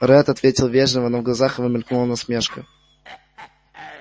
ретт ответил вежливо но в глазах его мелькнула насмешка